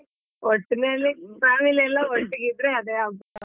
Family ಎಲ್ಲ ಒಟ್ಟಿಗೆ ಇದ್ರೆ ಅದೇ ಹಬ್ಬ.